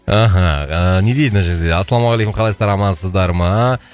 аха ыыы не дейді мына жерде ассалаумағалейкум қалайсыздар амансыздар ма